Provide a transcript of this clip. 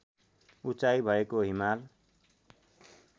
उचाइ भएको हिमाल